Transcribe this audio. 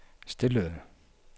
stillede